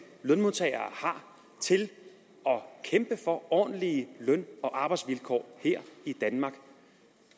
lønmodtagere har til at kæmpe for ordentlige løn og arbejdsvilkår her i danmark